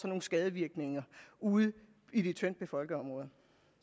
nogle skadevirkninger ude i de tyndtbefolkede områder